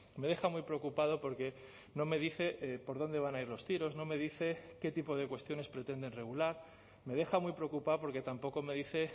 me deja muy preocupado porque no me dice por dónde van a ir los tiros no me dice qué tipo de cuestiones pretenden regular me deja muy preocupado porque tampoco me dice